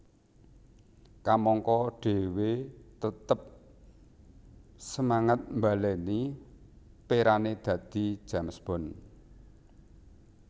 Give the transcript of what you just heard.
Kamangka dhewe tetep semangat mbaleni perane dadi James Bond